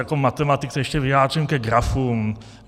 Jako matematik se ještě vyjádřím ke grafům.